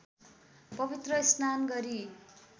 पवित्र स्नान गरी